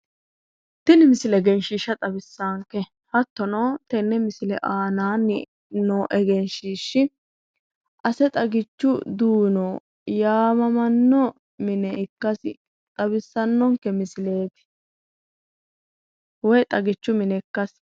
Tini misile egenshiishsha xawissaanke hattono tenne misile aanaanni noo egenshiishshi ase xagichu duuno yaamamanno mine ikkasi xawissannonke misileeti woy xagichu mine ikkasi.